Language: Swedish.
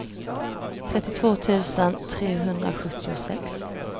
trettiotvå tusen trehundrasjuttiosex